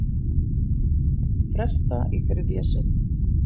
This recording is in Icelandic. Fresta í þriðja sinn